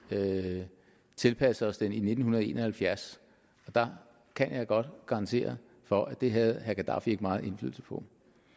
tilpassede os den i nitten en og halvfjerds og jeg kan godt garantere for at det havde gadaffi ikke meget indflydelse på